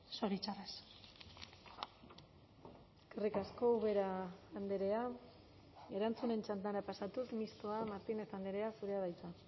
zoritxarrez eskerrik asko ubera andrea erantzunen txandara pasatuz mistoa martínez andrea zurea da hitza